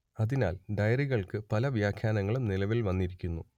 അതിനാൽ ഡയറികൾക്ക് പല വ്യാഖ്യാനങ്ങളും നിലവിൽ വന്നിരിക്കുന്നു